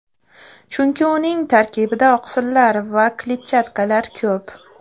Chunki uning tarkibida oqsillar va kletchatkalar ko‘p.